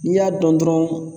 N'i y'a dɔn dɔrɔn